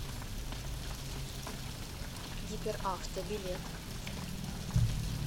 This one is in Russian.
гиперавто билет